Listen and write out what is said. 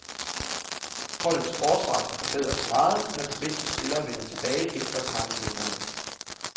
Holdets forsvar kan forbedres meget, når de bedste spillere vender tilbage efter karantænerne.